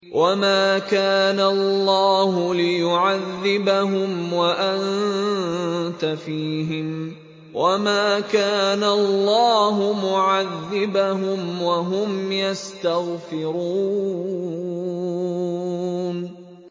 وَمَا كَانَ اللَّهُ لِيُعَذِّبَهُمْ وَأَنتَ فِيهِمْ ۚ وَمَا كَانَ اللَّهُ مُعَذِّبَهُمْ وَهُمْ يَسْتَغْفِرُونَ